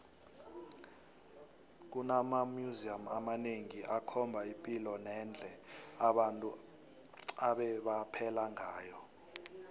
kunama museum amanengi akhomba ipilo nendle abantu ebebaphela ngayo